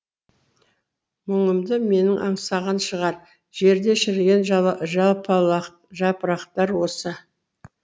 мұңымды менің аңсаған шығар жерде шіріген жапырақтар осы